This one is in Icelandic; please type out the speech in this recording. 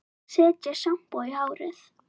Setja sjampó í hárið?